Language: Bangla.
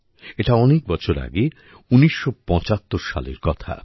এটা অনেক বছর আগে ১৯৭৫ সালের কথা